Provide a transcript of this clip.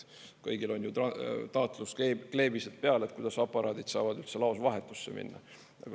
Kõigil on ju taatluskleebised peal, et kuidas aparaadid saavad üldse laos vahetusse minna.